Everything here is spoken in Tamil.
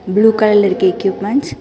ப்ளூ கலர்ல இருக்கு எக்யுப்மென்ட்ஸ் .